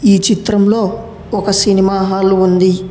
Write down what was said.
ఈ చిత్రంలో ఒక సినిమా హాలు ఉంది.